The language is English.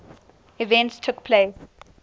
events took place